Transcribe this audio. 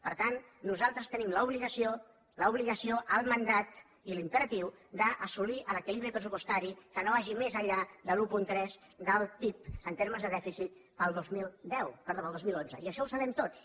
per tant nosaltres tenim l’obligació el mandat i l’imperatiu d’assolir l’equilibri pressupostari que no vagi més enllà del un coma tres del pib en termes de dèficit per al dos mil onze i això ho sabem tots